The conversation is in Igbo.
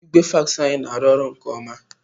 Igwe fax anyị na-arụ ọrụ nke ọma.